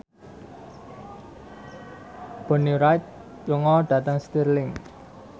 Bonnie Wright lunga dhateng Stirling